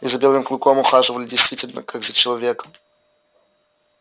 и за белым клыком ухаживали действительно как за человеком